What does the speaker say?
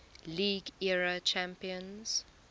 league era champions